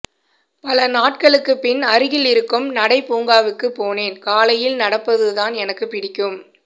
பல நாட்களுக்குப் பின் அருகில் இருக்கும் நடை பூங்காவுக்குப் போனேன் காலையில் நடப்பதுதான் எனக்குப் பிடிக்கும்